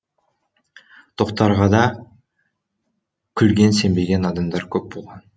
тохтарғада күлген сенбеген адамдар көп болған